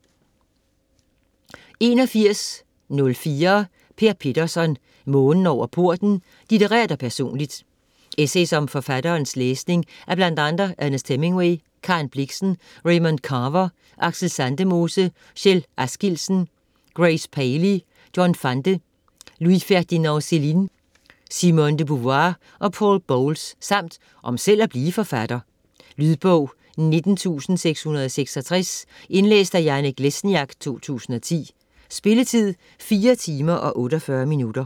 81.04 Petterson, Per: Månen over porten: litterært og personligt Essays om forfatterens læsning af bl.a. Ernest Hemingway, Karen Blixen, Raymond Carver, Aksel Sandemose, Kjell Askildsen, Grace Paley, John Fante, Louis-Ferninand Céline, Simone de Beauvoir og Poul Bowles, samt om selv at blive forfatter. Lydbog 19666 Indlæst af Janek Lesniak, 2010. Spilletid: 4 timer, 48 minutter.